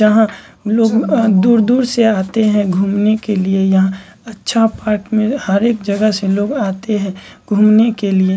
यहाँ लोग अ दूर-दूर से आते हैं घूमने के लिए यहाँ अच्छा पार्क में हर एक जगह से लोग आते हैं घूमने के लिए।